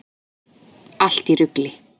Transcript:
Allt í rugli!